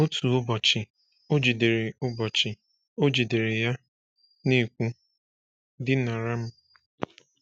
Otu ụbọchị, o jidere ụbọchị, o jidere ya, na-ekwu: “Dịnara m!”